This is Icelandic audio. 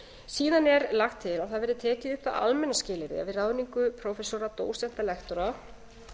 síðan er lagt til að það verði tekið upp það almenna skilyrði við ráðningu prófessora dósenta lektora